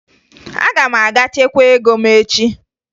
Aga m aga chekwaa ego m echi